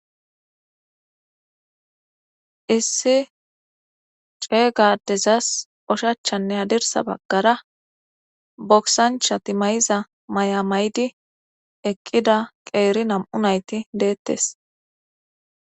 issi cee gadezas oshachanne hadirsa baggara boksanchati may7iza may7a maydi eqqida qeeri nam7u nayti deettes